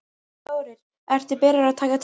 Þórir: Ertu byrjaður að taka til?